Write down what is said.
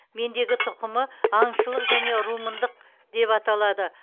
мендегі тұқымы аңшылық және румындық деп аталады